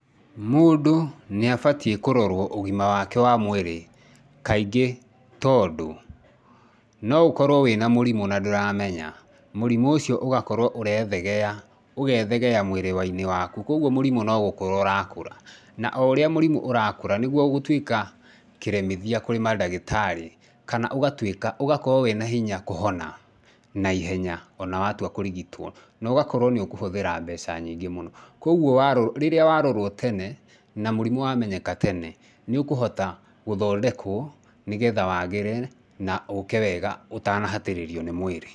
Mũndũ nĩ abatiĩ kũrorwo ũgima wake wa mwĩrĩ, kaingĩ tondũ no ũkorwo wĩna mũrimũ na ndũramenya, mũrimũ ũcio ũgakorwo ũrethegea, ũgethegea mwĩrĩ-inĩ waku koguo mũrimũ nogũkũra ũrakũra na oũrĩa mũrimũ ũrakũra nĩguo ũgũtuĩka kĩremithia kũrĩ mandagĩtarĩ kana ũgatuĩka ũgakorwo wĩ na hinya kũhona naihenya ona watua kũrigitwo nogakorwo nĩ ũkũhũthĩra mbeca nyingĩ mũno. Koguo rĩrĩa warorwo tene na mũrimũ wamenyeka tene nĩ ũkũhota gũthondekwo nĩgetha wagĩre na ũke wega ũtanahatĩrĩrio nĩ mwĩrĩ.